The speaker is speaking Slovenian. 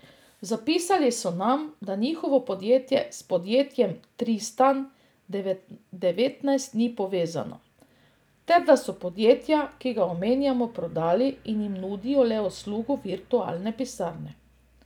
Zapisali so nam, da njihovo podjetje s podjetjem Tristan devetnajst ni povezano, ter da so podjetje, ki ga omenjamo prodali in jim nudijo le uslugo virtualne pisarne.